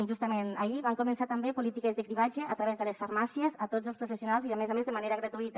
justament ahir van començar també polítiques de cribratge a través de les farmàcies a tots els professionals i a més a més de manera gratuïta